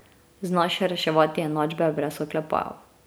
Znaš reševati enačbe brez oklepajev.